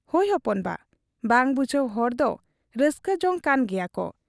ᱦᱚᱭ ᱦᱚᱯᱚᱱ ᱵᱟ ᱾ ᱵᱟᱝ ᱵᱩᱡᱷᱟᱹᱣ ᱦᱚᱲᱫᱚ ᱨᱟᱹᱥᱠᱟᱹ ᱡᱚᱝ ᱠᱟᱱ ᱜᱮᱭᱟᱠᱚ ᱾